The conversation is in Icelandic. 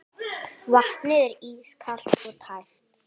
Vatnið var ískalt og tært.